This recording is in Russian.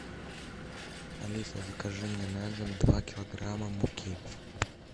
алиса закажи мне на дом два килограмма муки